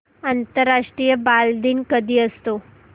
आंतरराष्ट्रीय बालदिन कधी असतो